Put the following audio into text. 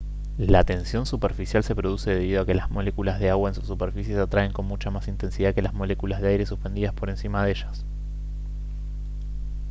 la tensión superficial se produce debido a que las moléculas de agua en su superficie se atraen con mucha más intensidad que las moléculas de aire suspendidas por encima de ellas